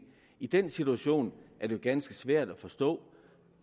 i den situation er det ganske svært at forstå